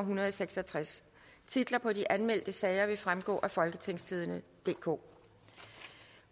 en hundrede og seks og tres titler på de anmeldte sager vil fremgå af folketingstidende DK